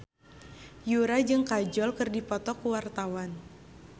Yura jeung Kajol keur dipoto ku wartawan